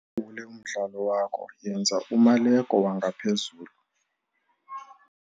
Wulawule umdlalo wakho - yenza umaleko wangaphezulu.